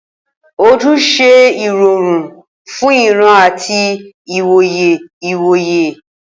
Ojú ń ṣe ìrọ̀rùn fún ìran àti ìwòye ìwòye.